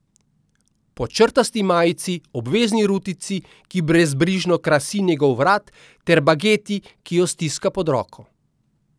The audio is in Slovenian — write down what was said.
Po črtasti majici, obvezni rutici, ki brezbrižno krasi njegov vrat, ter bageti, ki jo stiska pod roko.